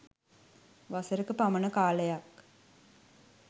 වසරක පමණ කාලයක්